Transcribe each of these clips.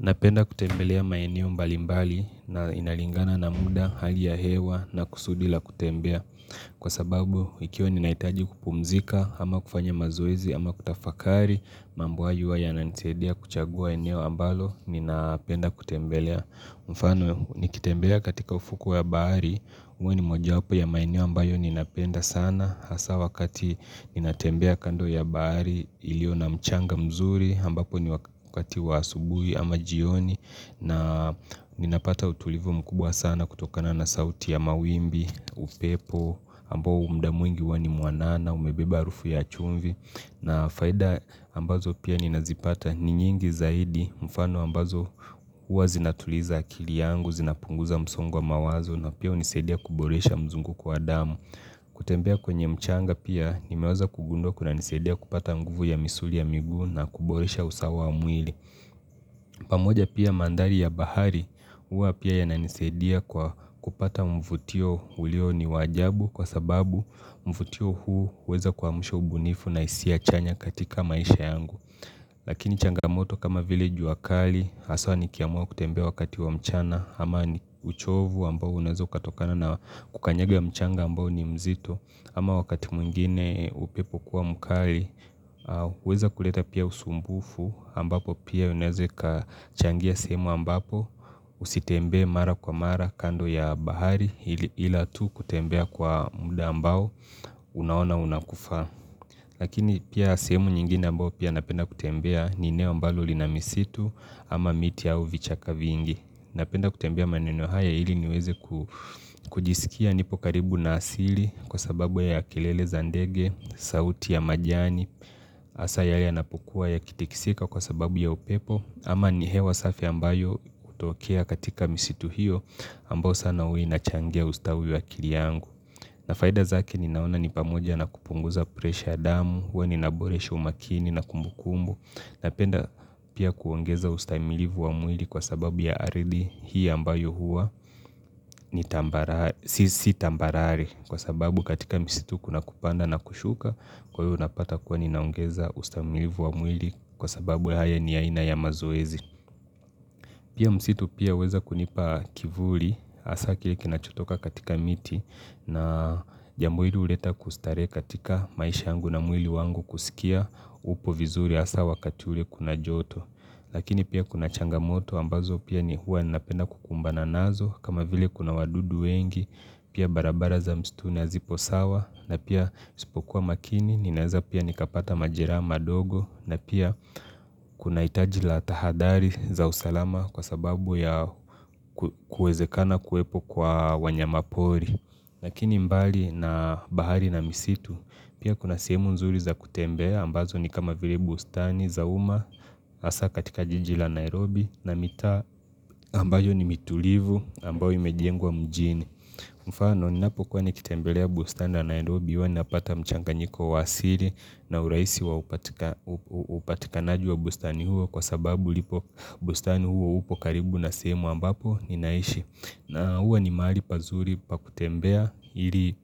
Napenda kutembelea maeneo mbalimbali na inalingana na muda hali ya hewa na kusudil a kutembea Kwa sababu ikiwa ninaitaji kupumzika ama kufanya mazoezi ama kutafakari mambo hayo huwa yananisaidia kuchagua eneo ambalo ninapenda kutembelea mfano nikitembea katika ufukwe ya bahari uwe ni mojawapo ya maeneo ambayo ninapenda sana hasa wakati ninatembea kando ya bahari ilio na mchanga mzuri ambapo ni wakati wa asubuhi ama jioni na ninapata utulivu mkubwa sana kutokana na sauti ya mawimbi, upepo, ambao mda mwingi huwa ni muanana, umebeba harufu ya chumvi na faida ambazo pia ninazipata ni nyingi zaidi mfano ambazo uwa zinatuliza akili yangu, zinapunguza msongo wa mawazo na pia unisaidia kuboresha mzunguko wa damu kutembea kwenye mchanga pia nimewaza kugundua kunanisaidia kupata nguvu ya misuli ya miguu na kuboresha usawa wa mwili pamoja pia mandhari ya bahari hua pia yananisaidia kupata mvutio ulio ni wa jabu kwa sababu mvutio huu huweza kuamsha ubunifu na hisia chanya katika maisha yangu Lakini changamoto kama vile jua kali haswa nikiamuwa kutembea wakati wa mchana ama ni uchovu ambao unaeza ukatokana na kukanyaga mchanga ambao ni mzito ama wakati mwingine upepo kuwa mkali, au kuweza kuleta pia usumbufu ambapo pia unaeza ikachangia sehemu ambapo usitembee mara kwa mara kando ya bahari ila tu kutembea kwa muda ambao unaona unakufaa. Lakini pia sehemu nyingine ambao pia napenda kutembea ni eneo ambalo lina misitu ama miti au vichaka vingi. Napenda kutembea maneno haya hili niweze kujisikia nipo karibu na asili kwa sababu ya kelele za ndege, sauti ya majani, hasa yanapokua yakitikisika kwa sababu ya upepo ama ni hewa safi ambayo utokea katika misitu hiyo ambao sana huwa inachangea ustawi wa akili yangu. Na faida zake ninaona ni pamoja na kupunguza pressure ya damu, huwa ninaboresha umakini na kumbukumbu Napenda pia kuongeza ustaimilivu wa mwili kwa sababu ya ardhi hii ambayo huwa ni Si tambarari kwa sababu katika msitu kuna kupanda na kushuka Kwa hiyo unapata kuwa ninaongeza ustaimilivu wa mwili kwa sababu haya ni aina ya mazoezi Pia msitu pia huweza kunipa kivuli hasa kile kinachotoka katika miti na jambo hili huleta kustarehe katika maisha yangu na mwili wangu kusikia upo vizuri hasa wakati ule kuna joto Lakini pia kuna changamoto ambazo pia ni huwa ninapenda kukumbana nazo kama vile kuna wadudu wengi pia barabara za mstuni hazipo sawa na pia nisipokuwa makini ninaeza pia nikapata majeraha madogo na pia kuna hitaji la tahadhari za usalama kwa sababu ya kuezekana kuepo kwa wanyama pori Lakini mbali na bahari na misitu pia kuna sehemu nzuri za kutembea ambazo ni kama vile bustani za uma hasa katika jiji la Nairobi na mitaa ambayo ni mitulivu ambayo imejengwa mjini. Mfano ninapokuwa nikitembelea bustani wa Nairobi hua ninapata mchanganyiko wa asiri na uraisi wa upatikanaji wa bustani huo Kwa sababu bustani huo upo karibu na sehemu ambapo ninaishi na huwa ni mahali pazuri pa kutembea Iri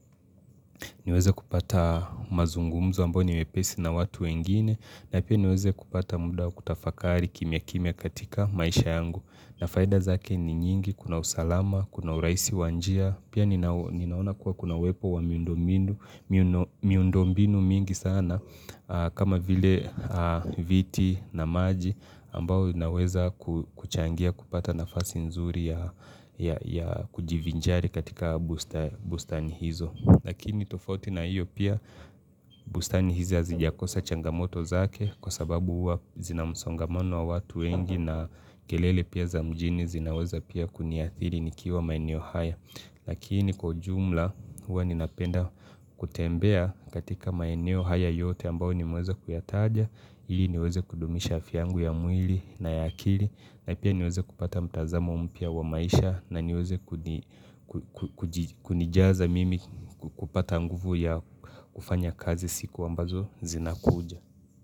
niweze kupata mazungumzo ambao ni wepesi na watu wengine na pia niweze kupata muda kutafakari kimya kimya katika maisha yangu na faida zake ni nyingi kuna usalama, kuna uraisi wa njia Pia ninaona kuwa kuna uwepo wa miundo mbinu mingi sana kama vile viti na maji ambao inaweza kuchangia kupata nafasi nzuri ya kujivinjari katika bustani hizo. Lakini tofauti na hiyo pia bustani hizi azijakosa changamoto zake kwa sababu huwa zina msongamano wa watu wengi na kelele pia za mjini zinaweza pia kuniathiri nikiwa maeneo haya. Lakini kwa ujumla huwa ninapenda kutembea katika maeneo haya yote ambao nimweza kuyataja. Ili niweze kudumisha afy yangu ya mwili na ya akili na pia niweze kupata mtazamo mpia wa maisha na niweze kunijaza mimi kupata nguvu ya kufanya kazi siku ambazo zinakuja.